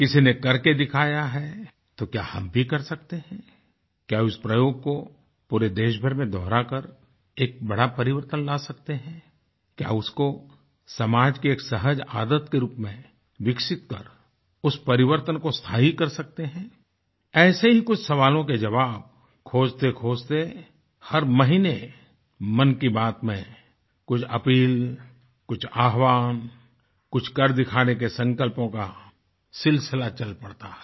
किसी ने करके दिखाया हैतो क्या हम भी कर सकते हैंक्या उस प्रयोग को पूरे देशभर में दोहराकर एक बड़ा परिवर्तन ला सकते हैंक्या उसको समाज के एक सहज आदत के रूप में विकसित कर उस परिवर्तन को स्थायी कर सकते हैं ऐसे ही कुछ सवालों के जवाब खोजतेखोजते हर महीने मन की बात में कुछ अपील कुछ आह्वाहन कुछ कर दिखाने के संकल्पों का सिलसिला चल पड़ता है